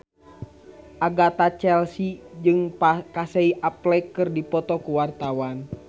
Agatha Chelsea jeung Casey Affleck keur dipoto ku wartawan